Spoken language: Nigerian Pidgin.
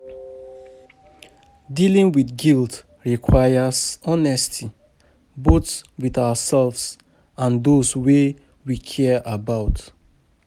Dealing with guilt requires honesty, both with ourselves and those wey we care about.